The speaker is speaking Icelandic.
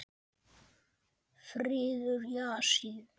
Friður í Asíu.